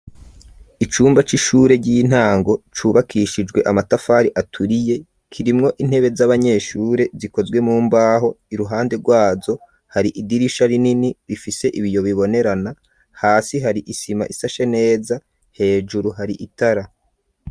Icumba c'ishure, ry'intango, cubakishijwe amatafari aturiye; kirimwo intebe z'abanyeshure, zikozwe mu mbaho; iruhande rwazo, hari idirisha rinini, rifise ibiyo bibonerana; hasi hari isima isashe neza, hejuru hari itara.